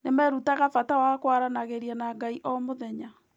Nĩ merutaga bata wa kwaranagĩria na Ngai o mũthenya.